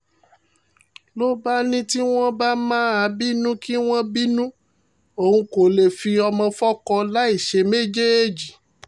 ló bá ní tí wọ́n bá máa bínú kí wọ́n bínú òun kó lè fi ọmọ fọ́kọ láì ṣe méjèèjì